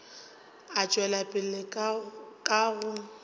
a tšwela pele ka go